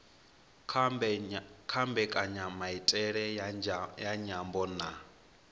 kha mbekanyamaitele ya nyambo na